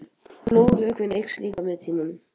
Blóðvökvinn eykst líka með tímanum.